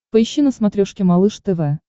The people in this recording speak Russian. поищи на смотрешке малыш тв